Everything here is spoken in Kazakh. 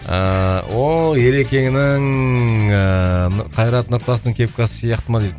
ыыы ооо ерекеңнің ііі қайрат нұртастың кепкасы сияқты ма дейді